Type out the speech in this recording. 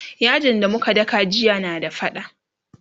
yajin da muka daka jiya na da faɗa